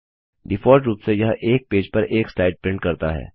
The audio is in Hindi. डिफॉल्ट रुप से यह एक पेज पर एक स्लाइड प्रिंट करता है